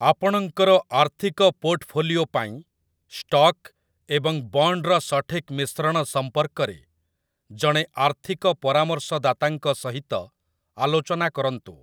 ଆପଣଙ୍କର ଆର୍ଥିକ ପୋର୍ଟଫୋଲିଓ ପାଇଁ ଷ୍ଟକ୍ ଏବଂ ବଣ୍ଡ୍‌ର ସଠିକ୍‌ ମିଶ୍ରଣ ସମ୍ପର୍କରେ ଜଣେ ଆର୍ଥିକ ପରାମର୍ଶଦାତାଙ୍କ ସହିତ ଆଲୋଚନା କରନ୍ତୁ ।